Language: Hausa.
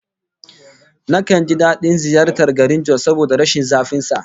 Nakan ji dadin ziyartar garin Jos saboda rashin zafin sa